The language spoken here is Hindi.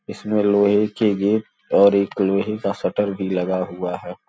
इसमें लोहे के गेट और एक लोहे का शटर भी लगा हुआ है।